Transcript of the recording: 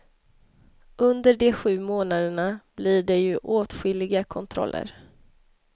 Under de sju månaderna blir det ju åtskilliga kontroller.